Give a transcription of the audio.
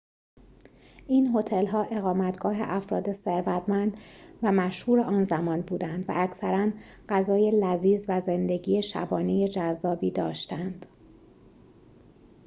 این هتل‌ها اقامتگاه افراد ثروتمند و مشهور آن زمان بودند و اکثراً غذای لذیذ و زندگی شبانه جذابی داشتند